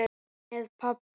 Með pabba.